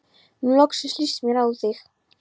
Nú loksins líst mér á þig.